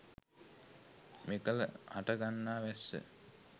මෙකල හටගන්නා වැස්ස